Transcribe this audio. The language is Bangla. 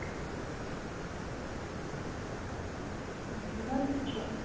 নির্লজ্জ